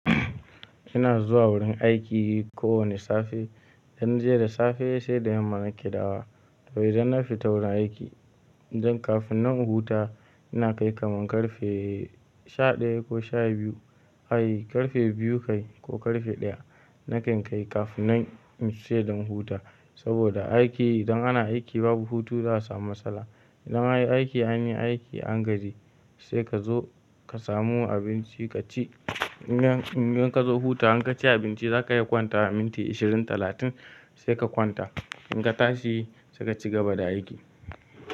Ina zuwa wurin aiki kowane safe, in na je da safe sai da yamma nake dawowa. To idan na fita wurin aiki, don kafin nan in huta ina kai kamar ƙarfe sha ɗaya ko sha biyu. Ai ƙarfe biyu kai ko ƙarfe ɗaya nakan kai kafin nan in saye don huta. Saboda aiki idan ana aiki babu hutu za su samu matsala. Idan an yi aiki, an yi aiki an gaji sai ka zo ka samu abinci ka ci. In dan in dan ka zo hutawa in ka ci abinci za ka iya kwantawa minti ashirin talatin sai ka kwanta. In ka tashi sai ka cigaba da aiki.